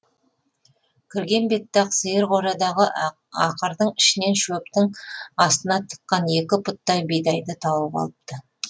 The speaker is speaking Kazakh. кірген бетте ақ сиыр қорадағы ақырдың ішінен шөптің астына тыққан екі пұттай бидайды тауып алыпты